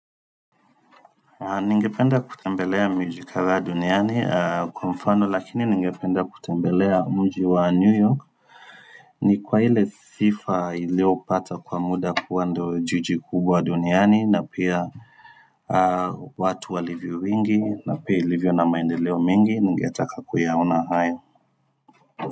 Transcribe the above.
Ningependa kutembelea miji kadhaa duniani kwa mfano lakini ningependa kutembelea mji wa new york ni kwa ile sifa iliopata kwa muda kuwa ndio jiji kubwa duniani na pia watu walivyo wingi na pia ilivyo na maendeleo mengi ningetaka kuyaona hayo.